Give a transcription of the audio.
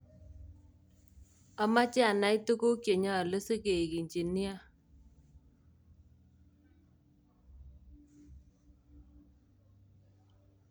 Amoche anai tuguk chenyolu sigeik engineer